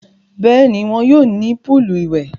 Bẹ́ẹ̀ni, wọn yóò ní púùlù ìwẹ̀.